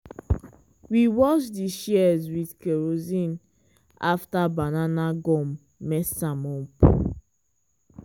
we wash di shears with kerosene after banana gum mess am up.